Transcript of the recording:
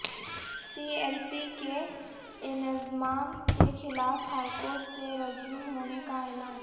سی L P کے انضمام کے خلاف ہائیکورٹ سے رجوع ہونے کا اعلان